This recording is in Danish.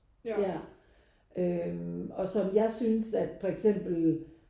Ja øh og som jeg synes at for eksempel